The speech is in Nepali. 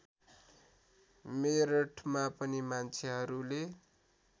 मेरठमा पनि मान्छेहरूले